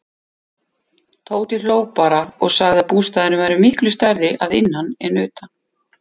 Tóti hló bara og sagði að bústaðurinn væri miklu stærri að innan en utan.